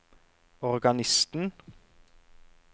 organisten